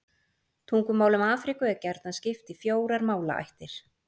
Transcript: Tungumálum Afríku er gjarnan skipt í fjórar málaættir.